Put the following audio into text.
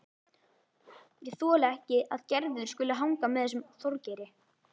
Ég þoli ekki að Gerður skuli hanga með þessum Þorgeiri.